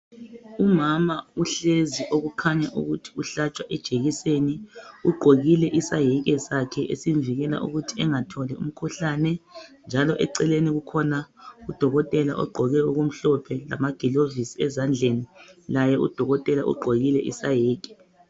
Umama uhlezi okukhanya ukuthi uhlatshwa ijekiseni ugqokile isaheke sakhe esimvikela ukuthi engatholi umkhuhlane njalo eceleni kukhona udokotela ogqoke okumhlophe lama gilovisi ezandleni laye udokotela ugqokile isaheke.